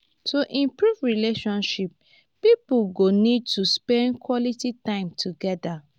to improve relationship pipo go need to spend quality time together